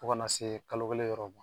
Fo ka n'a se kalo kelen yɔrɔ ma